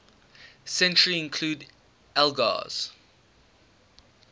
century include elgar's